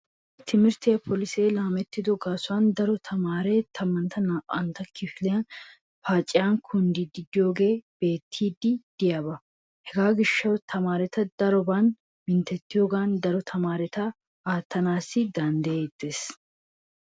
Ha"i timirtte polisee laamettido gaasuwan daro tamaaree tammanne naa'antta kifiliya paaciyan kunddiyogee beettiiddi diyaba. Hega gishshawu tamaareta daroban minttettiyoogan daro tamaareta aattanaassi danddayettees.